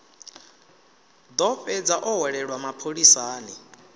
ḓo fhedza o hwelelwa mapholisani